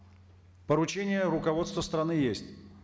поручение руководства страны есть